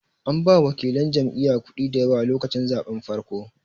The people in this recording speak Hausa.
An ba wakilan jam'iya kuɗi dayawa lokacin zaɓen farkon